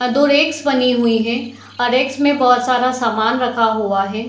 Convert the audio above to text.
यहाँ दो रैक्स बनी हुई हैं और रैक्स में बहुत सारा सामान रखा हुआ है।